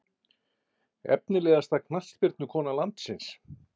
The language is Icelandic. Efnilegasta knattspyrnukona landsins?